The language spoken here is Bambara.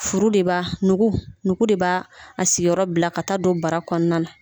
Furu de b'a nugu nugu de ba a siyɔrɔ bila ka taa don bara kɔnɔna na.